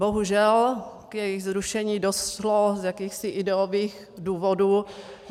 Bohužel k jejich zrušení došlo z jakýchsi ideových důvodů.